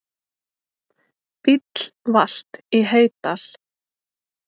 Bíll valt í Heydal